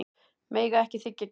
Mega ekki þiggja gjafir